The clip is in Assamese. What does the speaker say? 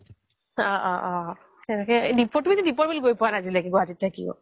অ অ তুমি তো দীপৰ বীল গৈ পুৱা নাই আজিলৈকে গুৱাহাতিত থাকিও